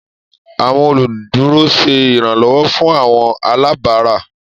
Àwọn oluduro ṣe iranlọwọ fun àwọn alabara.